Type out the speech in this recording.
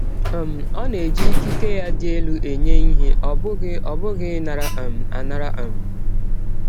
um Ọ na-eji ikike ya dị elụ enye ihe, ọ bụghị ọ bụghị ịnara um anara um